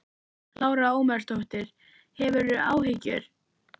Lára Ómarsdóttir: Hefurðu áhyggjur?